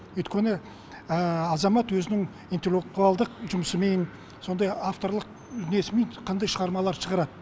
өйткені азамат өзінің интеллектуалдық жұмысымен сондай авторлық несімен қандай шығармалар шығарады